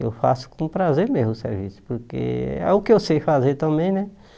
Eu faço com prazer mesmo o serviço, porque é o que eu sei fazer também, né?